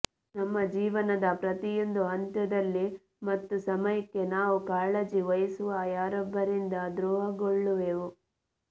ನಮ್ಮ ಜೀವನದ ಪ್ರತಿಯೊಂದು ಹಂತದಲ್ಲಿ ಮತ್ತು ಸಮಯಕ್ಕೆ ನಾವು ಕಾಳಜಿವಹಿಸುವ ಯಾರೊಬ್ಬರಿಂದ ದ್ರೋಹಗೊಳ್ಳುವೆವು